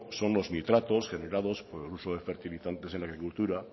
son los nitratos generados por el uso de fertilizantes en la agricultura